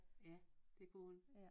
Ja det kunne hun